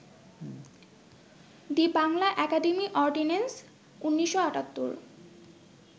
the Bangla academy ordinance, ১৯৭৮